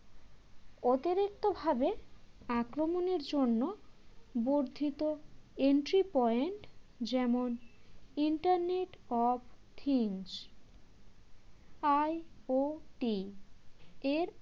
অতিরিক্তভাবে আক্রমণের জন্য বর্ধিত entry point যেমন internet of thingsI IOT এর